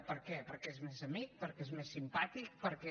per què perquè és més amic perquè és més simpàtic perquè